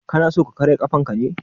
Kana so ka karya ƙafanka ne?